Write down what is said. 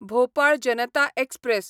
Bhopal Janata express